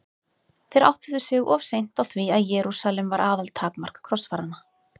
Þeir áttuðu sig of seint á því að Jerúsalem var aðaltakmark krossfaranna.